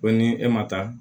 Ko ni e ma taa